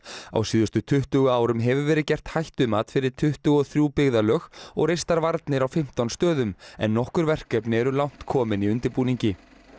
á síðustu tuttugu árum hefur verið gert hættumat fyrir tuttugu og þrjú byggðarlög og reistar varnir á fimmtán stöðum en nokkur verkefni eru langt komin í undirbúningi